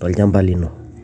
tolchampa lino.